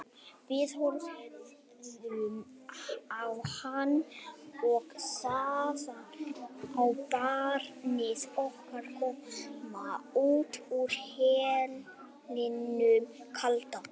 Við horfðum á hann og þaðan á barnið okkar koma út úr hellinum kalda.